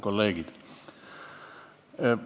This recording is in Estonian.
Kolleegid!